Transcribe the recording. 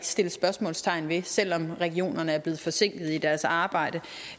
sættes spørgsmålstegn ved selv om regionerne er blevet forsinket i deres arbejde